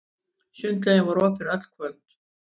Sundlaugin var opin öll kvöld.